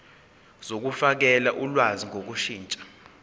zokufakela ulwazi ngokushintsha